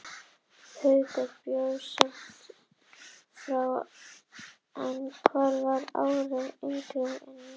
Haukur bjó skammt frá en hann var ári yngri en ég.